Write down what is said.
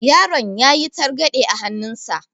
Yaron yayi targaɗe a hannun sa.